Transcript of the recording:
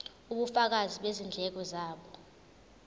ubufakazi bezindleko zabo